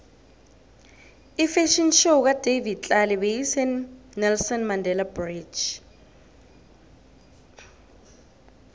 ifafhion show kadavid tlale beyise nelson mandele bridge